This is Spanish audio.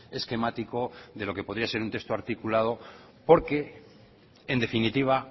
esquemático de lo que podía ser un texto articulado porque en definitiva